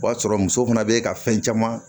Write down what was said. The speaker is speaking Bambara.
O b'a sɔrɔ muso fana bɛ ka fɛn caman